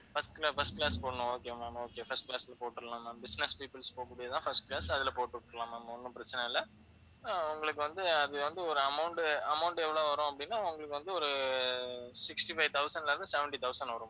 first ல first class போடணும் okay ma'am okay first class ல போட்டுறலாம் ma'am business peoples போகக்கூடியது தான் first class அதில போட்டு விட்டுடலாம் ma'am ஒன்னும் பிரச்சனை இல்ல அஹ் உங்களுக்கு வந்து அது வந்து ஒரு amount, amount எவ்வளவு வரும் அப்படின்னா உங்களுக்கு வந்து ஒரு sixty five thousand ல இருந்து, seventy thousand வரும்